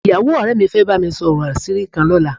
Ìyàwó ọ̀rẹ́ mi fẹ́ bá mi sọ̀rọ̀ àṣírí kan lọ́la